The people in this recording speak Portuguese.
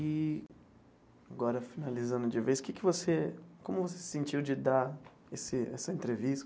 E agora, finalizando de vez, que que você como você se sentiu de dar esse essa entrevista?